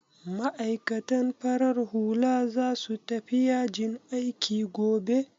Ma'aikatan farar hula za su tafi yajin aiki gobe?